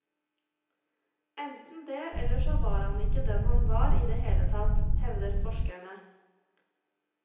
Enten det, eller så var han ikke den han var i det hele tatt, hevder forskere.